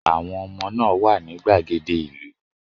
Àwọn ọmọ náà wà ní gbàgede ìlú